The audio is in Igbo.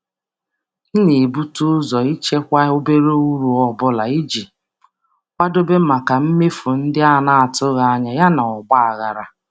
M na-ebute ụzọ ichekwa obere uru ọ bụla iji kwadoo maka mmefu na-atụghị anya ya na mkpagharị.